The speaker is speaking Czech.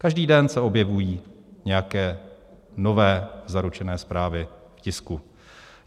Každý den se objevují nějaké nové zaručené zprávy v tisku.